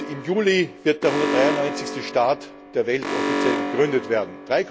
Im Juli wird der 193. Staat der Welt offiziell gegründet werden.